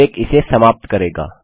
break इसे समाप्त करता है